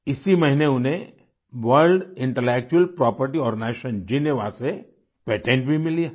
इसी महीने उन्हें World Intellectual Property Organization Geneva से पेटेंट भी मिली है